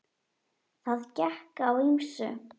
Það gekk á ýmsu.